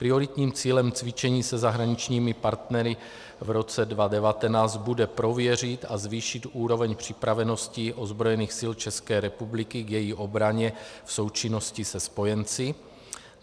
Prioritním cílem cvičení se zahraničními partnery v roce 2019 bude prověřit a zvýšit úroveň připravenosti ozbrojených sil České republiky k její obraně v součinnosti se spojenci.